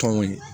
Tɔnw ye